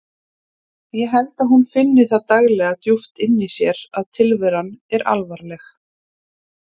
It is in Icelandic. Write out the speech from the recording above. Ég held að hún finni það daglega djúpt inni í sér að tilveran er alvarleg.